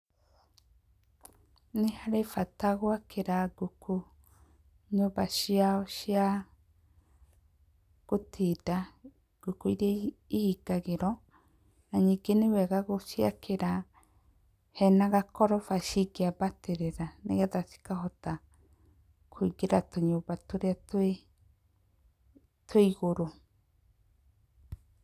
Nĩ harĩ bata gwakĩra ngũkũ nyũmba ciao cia gũtinda, ngũkũ iria ihingagĩrwo na ningĩ nĩ wega gũciakĩra hena gakoroba cingĩambatĩrĩra nĩ getha cikahota kũingĩra tũnyũmba tũrĩa twĩ igũrũ.